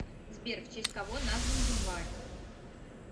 сбер в честь кого назван январь